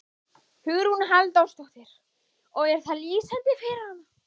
Hugrún Halldórsdóttir: Og er það lýsandi fyrir hana?